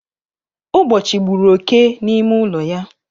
Ugbochi gburu oké n'ime ụlọ ya